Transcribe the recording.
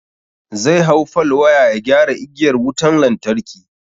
Zai hau fal waya ya gyara igiyar wutan lantarki.